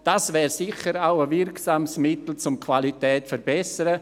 Das wäre sicher auch ein wirksames Mittel, um die Qualität zu verbessern.